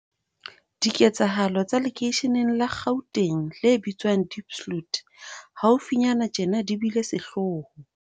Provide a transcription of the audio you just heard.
Diketsahalo tsa lekeisheneng la Gauteng le bitswang Diepsloot haufinyane tjena di bile sehloho.